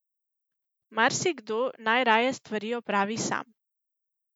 Marsikdo najraje stvari opravi sam.